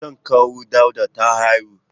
Matar kawu Dauda ta haihu.